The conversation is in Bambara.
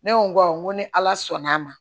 Ne ko awɔ n ko ni ala sɔnn'a ma